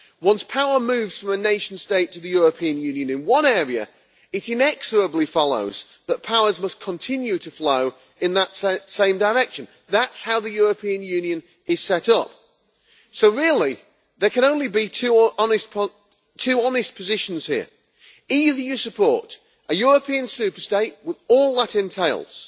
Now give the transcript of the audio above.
Once power moves from a nation state to the European Union in one area, it inexorably follows that powers must continue to flow in that same direction. That is how the European Union is set up. Really, there can only be two honest positions here. Either you support a European super state, with all that entails,